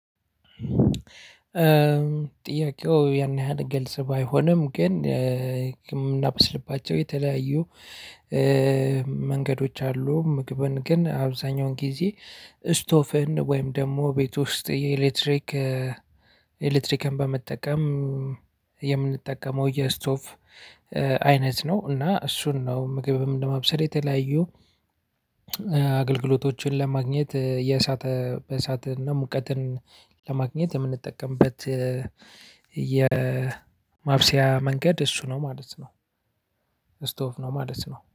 ጥያቄው ያን ያህል ገልጽ ባይሆንም ግን የምናበስልባቸው የተለያዩ መንገዶች አሉ። ምግብን ግን አብዛኛውን ጊዜ ስቶፍን ወይም ደግሞ ቤት ውስጥ የኤሌክትሪክ ኤሌክትሪክን በመጠቀም የምንጠቀመው የስቶፍ አይነት ነው። እና እሱን ነው ምግብም ለመብሰል የተለያዩ አገልግሎቶችን ለማግኘት የእሳት በእሳትና ሙቀትን ለማግኘት የምንጠቀምበት የማብሰያ መንገድ እሱ ነው ማለት ነው። ስቶፍ ነው ማለት ነው።